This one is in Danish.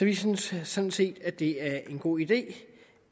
vi synes sådan set at det er en god idé